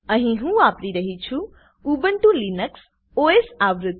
અહી હું વાપરી રહ્યી છું ઉબુન્ટુ લિનક્સ ઓએસ આવૃત્તિ